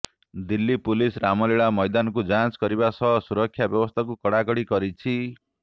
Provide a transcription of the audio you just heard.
Delhi police Ramlila ମୈଦାନକୁ ଯାଞ୍ଚ କରିବା ସହ ସୁରକ୍ଷା ବ୍ୟବସ୍ଥାକୁ କଡ଼ା କଡି କରିଛି